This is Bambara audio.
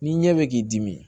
Ni ɲɛ bɛ k'i dimi